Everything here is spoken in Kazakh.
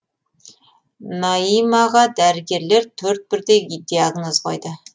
наимаға дәрігерлер төрт бірдей диагноз қойды